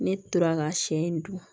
Ne tora ka siɲɛ in dun